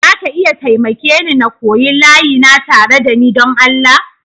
Za ka iya taimake ni n'koya layi na tare da ni don Allah?